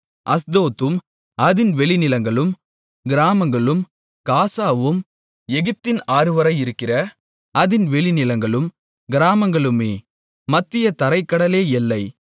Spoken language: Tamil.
அஸ்தோத்தும் அதின் வெளிநிலங்களும் கிராமங்களும் காசாவும் எகிப்தின் ஆறு வரையிருக்கிற அதின் வெளிநிலங்களும் கிராமங்களுமே மத்திய தரைக் கடலே எல்லை